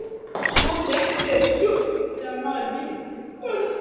Svo fékkstu þér sjúss þegar þú náðir í bílinn.